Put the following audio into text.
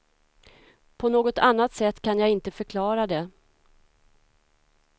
På något annat sätt kan jag inte förklara det.